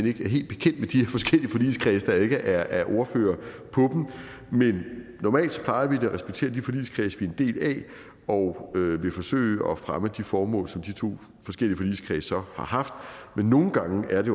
ikke er helt bekendt med de her forskellige forligskredse da jeg ikke er ordfører på dem men normalt plejer vi da at respektere de forligskredse vi er en del af og vil forsøge at fremme de formål som de to forskellige forligskredse så har haft men nogle gange er det